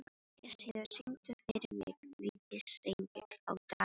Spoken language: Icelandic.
Gestheiður, syngdu fyrir mig „Vítisengill á Davidson“.